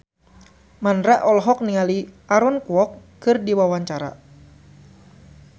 Mandra olohok ningali Aaron Kwok keur diwawancara